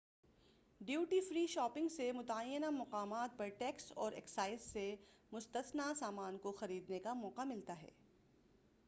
duty free shopping سے متعینہ مقامات پر ٹیکس اور اکسائز سے مستثنی سامان کوخریدنے کا موقع ملتا ہے